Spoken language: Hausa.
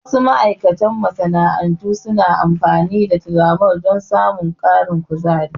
Wasu ma'aikatan masana'antu suna amfani da tiramol don samun ƙarin kuzari.